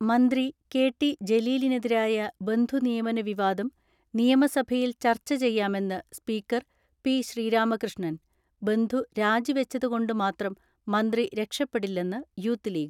മന്ത്രി K T ജലീലിനെതിരായ ബന്ധുനിയമന വിവാദം നിയമസഭയിൽ ചർച്ച ചെയ്യാമെന്ന് സ്പീക്കർ പി ശ്രീരാമകൃഷ്ണൻ. ബന്ധു രാജി വെച്ചതുകൊണ്ട് മാത്രം മന്ത്രി രക്ഷപ്പെടില്ലെന്ന് യൂത്ത് ലീഗ്.